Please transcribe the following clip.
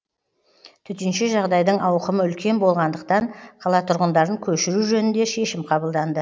төтенше жағдайдың ауқымы үлкен болғандықтан қала тұрғындарын көшіру жөнінде шешім қабылданды